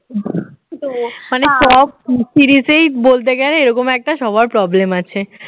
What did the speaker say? মানে সব পিরিতেই বলতে গেলে এরকম একটা সবার problem আছে